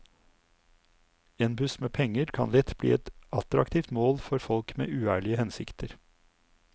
En buss med penger kan lett bli et attraktivt mål for folk med uærlige hensikter.